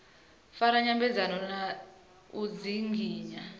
fara nyambedzano na u dzinginya